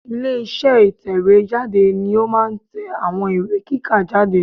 Ilé iṣẹ́ ìtẹ̀wé jáde ni ó máa n tẹ àwọn ìwé kíkà jáde